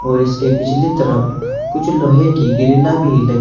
और इसके पिछली तरफ कुछ लोहे की गिरिला भी ल--